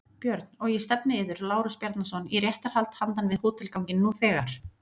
BJÖRN: Og ég stefni yður, Lárus Bjarnason, í réttarhald handan við hótelganginn nú þegar!